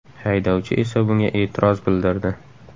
Haydovchi esa bunga e’tiroz bildirdi.